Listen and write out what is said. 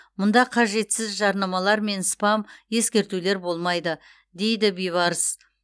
мұнда қажетсіз жарнамалар мен спам ескертулер болмайды дейді бибарыс